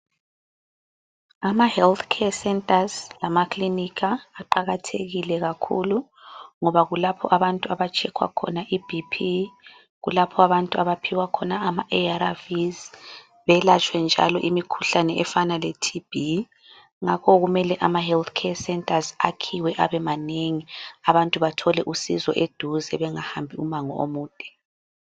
Ama health care centers lamaklinika kuqakathekile kakhulu, ngoba kulapho abantu abatshekhwa khona iBP, kulapho abantu abaphiwa khona ama ARVs, belatshwe njalo imikhuhlane efana leTB. Ngakho kumele ama health care centers akhiwe abe manengi. Abantu bathole usizo eduze, bengahambi umango omude.